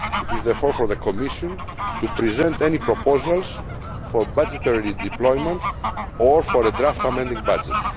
It is therefore for the Commission to present any proposals for budgetary redeployment or for a draft amending budget.